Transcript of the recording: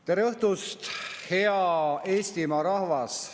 Tere õhtust, hea Eestimaa rahvas!